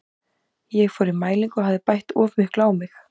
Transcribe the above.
Ég fór í mælingu og hafði bætt of miklu á mig.